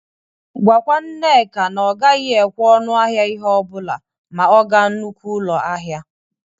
Gwakwa Nneka na ọ gaghị ekwekwa ọnụ ahịa ihe ọ bụla ma ọ ga nnukwu ụlọ ahịa.